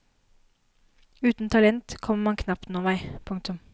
Uten talent kommer man knapt noen vei. punktum